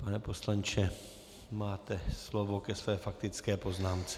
Pane poslanče, máte slovo ke své faktické poznámce.